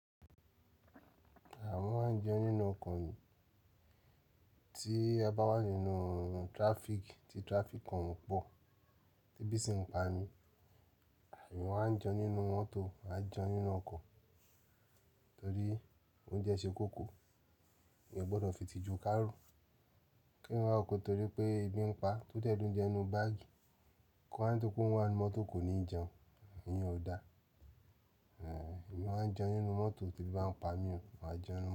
Àwọn má ń jẹun nínú ọkọ̀ tí a bá wà nínú traffic tí traffic kan pọ̀ tí ebí sí ń pa mí. Àwa má ń jẹ nínú mọ́tò a jẹun nínú ọkọ̀ torí oúnjẹ ṣe kókó. Mi ò gbọdọ̀ fi ìtìjú kárùn. Kéèyàn wá wòó pé torí pé ebi ń paá, tó dẹ̀ lóúnjẹ nínú báàgì kó wá torí pé òun wà nínú mọ́tò kò ní jẹun. Iyẹn ò dáa. Mo máa ń jẹun nínú mọ́tò tí ebi bá ń pa mí, màá jẹ nínú.